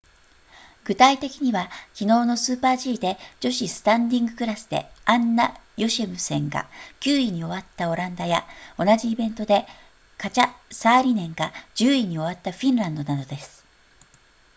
具体的には昨日のスーパー g で女子スタンディングクラスでアンナヨシェムセンが9位に終わったオランダや同じイベントでカチャサーリネンが10位に終わったフィンランドなどです